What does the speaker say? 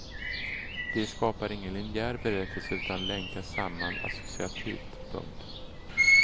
De skapar ingen linjär berättelse utan länkas samman associativt. punkt